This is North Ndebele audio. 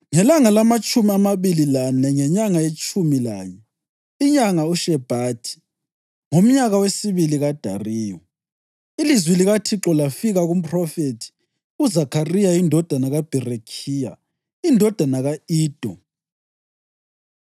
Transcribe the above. Ngelanga lamatshumi amabili lane ngenyanga yetshumi lanye, inyanga uShebhathi, ngomnyaka wesibili kaDariyu, ilizwi likaThixo lafika kumphrofethi uZakhariya indodana kaBherekhiya, indodana ka-Ido.